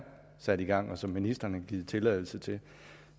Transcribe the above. sat i gang og som ministeren har givet tilladelse til